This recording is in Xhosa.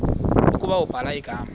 ukuba ubhala igama